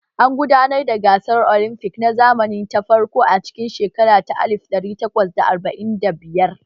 An gudanar da gasar olimfic na zamani ta farko a cikin shekara ta alif ɗari takwas da arba'in da biyar